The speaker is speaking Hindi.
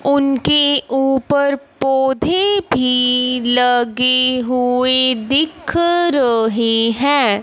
उनके ऊपर पोधै भी लगे हुए दिख रहे है।